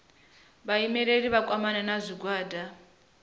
vhaimeleli vha kwamane na zwigwada